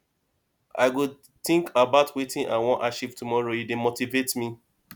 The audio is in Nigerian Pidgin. i go think about wetin i wan achieve tomorrow e dey motivate me